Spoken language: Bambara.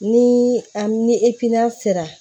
Ni an ni sera